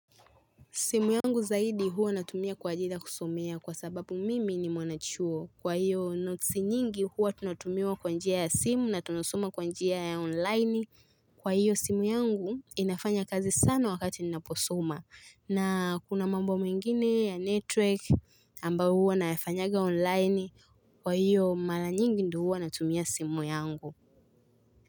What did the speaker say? Simu yangu zaidi huwa natumia kwa ajili kusumia kwa sababu mimi ni mwanachuo. Kwa hiyo notsi nyingi huwa tunatumiwa kwa njia ya simu na tunasoma kwa njia ya onlini. Kwa hiyo simu yangu inafanya kazi sana wakati ninaposoma. Kuna mambo mengine ya network ambao huwa nafanyanga online. Kwa hiyo mara nyingi ndu huwa natumia simu yangu.